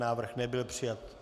Návrh nebyl přijat.